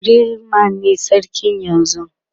yarima ne sarki yanzun